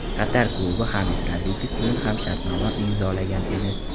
Qatar klubi Xames Rodriges bilan ham shartnoma imzolagan edi.